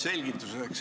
Selgituseks.